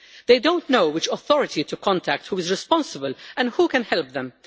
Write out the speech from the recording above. They do not know which authority to contact, who is responsible or who can help them.